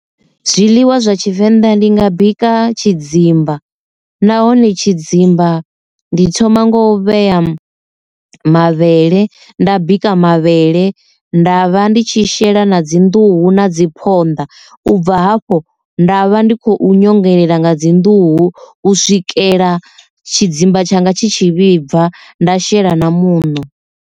Zwiḽiwa zwa tshivenḓa ndi nga bika tshidzimba nahone tshidzimba ndi thoma ngo u vhea mavhele nda bika mavhele nda vha ndi tshi tshi shela na dzi nḓuhu na dzi phonḓa u bva hafho nda vha ndi khou nyongelela nga dzi nḓuhu u swikela tshidzimba tshanga tshi tshi vhibva nda shela na muṋo.